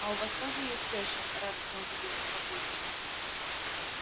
а у вас тоже есть тёща радостно удивился папулька